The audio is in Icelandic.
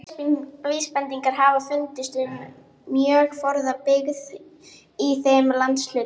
Góðar vísbendingar hafa fundist um mjög forna byggð í þeim landshluta.